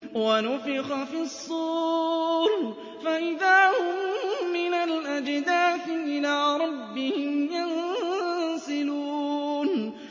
وَنُفِخَ فِي الصُّورِ فَإِذَا هُم مِّنَ الْأَجْدَاثِ إِلَىٰ رَبِّهِمْ يَنسِلُونَ